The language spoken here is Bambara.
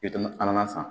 a mana san